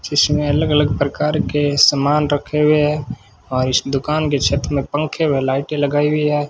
इसमें अलग अलग प्रकार के समान रखे हुए है और इस दुकान के छत मे पंखे व लाइटें लगाई हुई है।